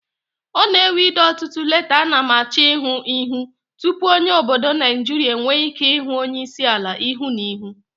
O n'enwe ide otutu leta ana m achoihu tupu onye obodo Nigeria enwe Ike hu onye isiala ihu na ihu